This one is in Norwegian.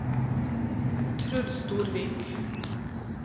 Truls Storvik